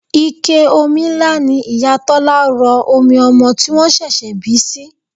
Ike omi ńlá ni Ìyá Tọ́lá rọ omi ọmọ tí wọ́n ṣẹ̀ṣẹ̀ bí sí.